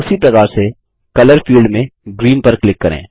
फिर उसी प्रकार से कलर फील्ड में ग्रीन पर क्लिक करें